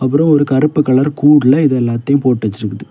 அப்ரோ ஒரு கருப்பு கலர் கூட்ல இத எல்லாத்தையும போடுவேச்சிற்குது.